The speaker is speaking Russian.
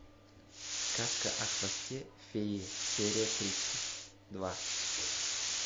сказка о хвосте феи серия тридцать два